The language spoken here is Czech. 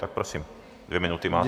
Tak prosím, dvě minuty máte.